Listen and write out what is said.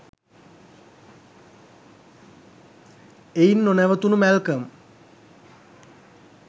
එයින් නොනැවතුනු මැල්කම්